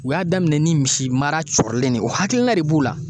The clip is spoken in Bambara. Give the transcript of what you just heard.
U y'a daminɛ ni misi mara cɔrilen de ye o hakilina de b'u la